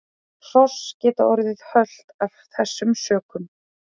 Hross geta orðið hölt af þessum sökum.